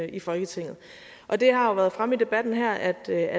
i folketinget og det har jo været fremme i debatten her at der